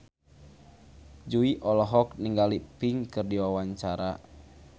Jui olohok ningali Pink keur diwawancara